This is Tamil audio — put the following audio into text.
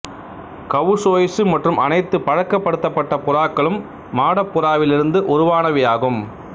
கவுசோயிசு மற்றும் அனைத்து பழக்கப்படுத்தப்பட்ட புறாக்களும் மாடப் புறாவிலிருந்து உருவானவையாகும்